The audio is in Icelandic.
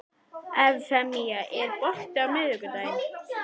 Evfemía, er bolti á miðvikudaginn?